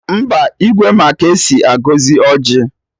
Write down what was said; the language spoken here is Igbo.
Mba, Igwe ma ka esi agọzi ọjị